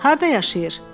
Harda yaşayır?